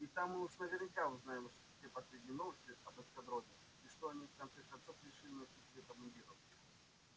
и там мы уж наверняка узнаем все последние новости об эскадроне и что они в конце концов решили насчёт цвета мундиров